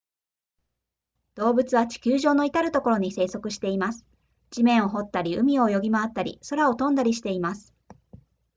動物は地球上のいたるところに生息しています地面を掘ったり海を泳ぎ回ったり空を飛んだりしています